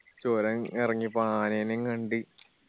ചൊരം എറങ്ങിപ്പോണ ആനേനും കണ്ട്